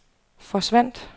forsvandt